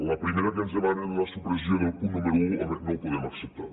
la primera en què ens demanen la supressió del punt número un home no la podem acceptar